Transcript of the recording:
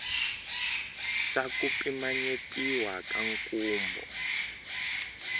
xa ku pimanyetiwa ka nkhumbo